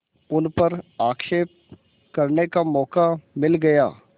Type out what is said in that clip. उन पर आक्षेप करने का मौका मिल गया